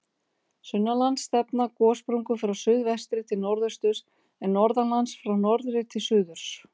Sunnanlands stefna gossprungur frá suðvestri til norðausturs, en norðanlands frá norðri til suðurs.